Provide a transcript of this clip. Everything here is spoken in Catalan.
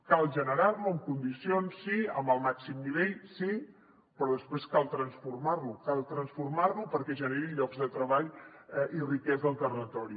cal generar lo amb condicions sí amb el màxim nivell sí però després cal transformar lo cal transformar lo perquè generi llocs de treball i riquesa al territori